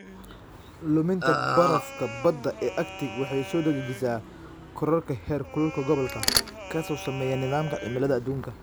Luminta barafka badda ee Arctic waxay soo dedejisaa kororka heerkulka gobolka, kaas oo saameeya nidaamka cimilada adduunka.